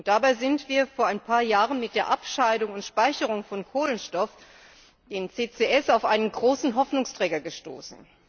Dabei sind wir vor ein paar Jahren mit der Abscheidung und Speicherung von Kohlenstoff in CCS auf einen großen Hoffnungsträger gestoßen.